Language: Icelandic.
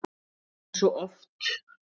Eins og svo oft!